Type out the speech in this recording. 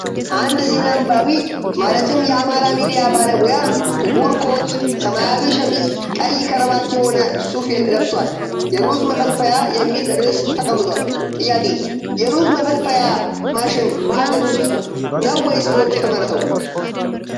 አንድ ዜና አንባቢ ማለትም የአማራ ሚዲያ ባለሙያ ጥቁር ኮት ፣ ሰማያዊ ሸሚዝ ፣ ቀይ ከረባት የሆነ ሱፍ ለብሷል የሩዝ መፈልፈያ የሚል ርዕስ ተቀምጧል ፤ ጥያቄ :- የሩዝ መፈልፈያ ማሽን በሐገር ውስጥ ነው ወይስ በውጭ የተመረተው?